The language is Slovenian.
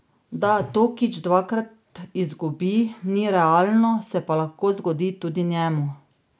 Da Tokič dvakrat izgubi, ni realno, se pa lahko zgodi tudi njemu.